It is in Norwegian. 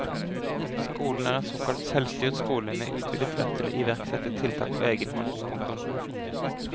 Skolen er en såkalt selvstyrt skole med utvidet rett til å iverksette tiltak på egen hånd. punktum